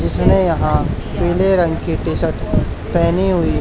जिसने यहां पीले रंग की टी शर्ट पेहनी हुई --